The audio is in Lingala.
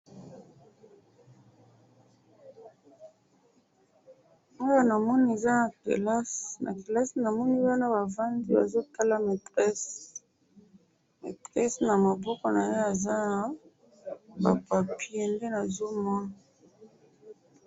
awa na moni eza kilasi na kilasi namoni bana ba vandi ba zo tala maitresse maitrese nama boko naye eza ba papier